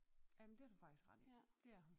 Ja men det har du faktisk ret i dét er hun